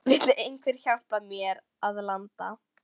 Vill einhver hjálpa mér að landa?